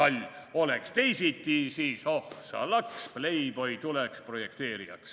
/ Oleks teisiti, siis oh sa laks, / Playboy tuleks projekteerijaks.